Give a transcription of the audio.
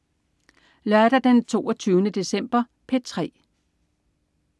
Lørdag den 22. december - P3: